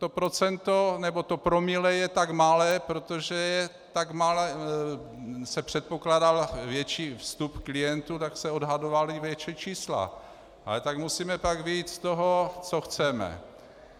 To procento nebo to promile je tak malé, protože se předpokládal větší vstup klientů, tak se odhadovala větší čísla, ale tak musíme pak vyjít z toho, co chceme.